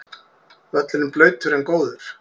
Völlurinn blautur en góður